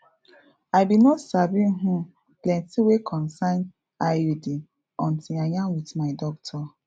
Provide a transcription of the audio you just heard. i bin no sabi um plenti wey concern iud until i yarn wit my doctor